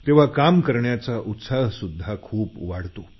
तेव्हा काम करण्याचा उत्साहसुध्दा खूप वाढतो